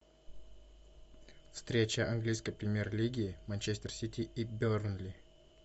встреча английской премьер лиги манчестер сити и бернли